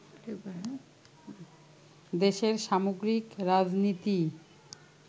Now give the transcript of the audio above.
দেশের সামগ্রিক রাজনীতিই